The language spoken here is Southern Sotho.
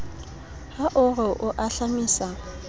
ha o re o ahlamisa